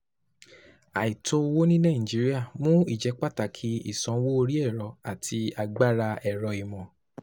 Àìtó owó ní Nàìjíríà mú ìjẹ́pàtàkì ìsanwó orí ẹ̀rọ àti agbára ẹ̀rọ-ìmọ̀.